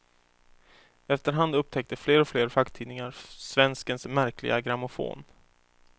Efter hand upptäckte fler och fler facktidningar svenskens märkliga grammofon.